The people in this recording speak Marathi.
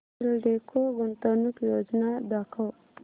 एल्डेको गुंतवणूक योजना दाखव